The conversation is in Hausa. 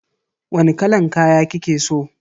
Wani kalan kaya kike so?